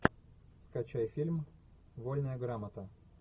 скачай фильм вольная грамота